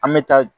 An bɛ taa